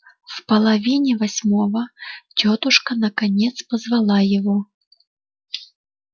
в половине восьмого тётушка наконец позвала его